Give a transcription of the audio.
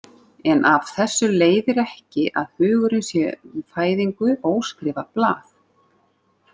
En af þessu leiðir ekki að hugurinn sé við fæðingu óskrifað blað.